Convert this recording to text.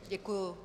Děkuji.